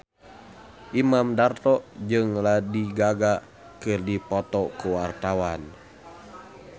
Imam Darto jeung Lady Gaga keur dipoto ku wartawan